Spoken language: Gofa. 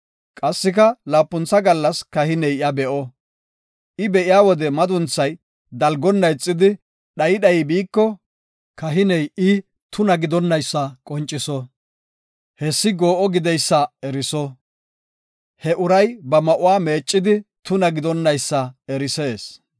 Qassika laapuntha gallas kahiney iya be7o; I be7iya wode madunthay dalgonna ixidi dhayi dhayi biiko, kahiney I tuna gideysa eriso. Hessi goo7o gideysa eriso; he uray ba ma7uwa meeccidi tuna gidonaysa erisees.